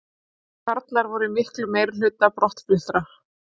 Karlar voru í miklum meirihluta brottfluttra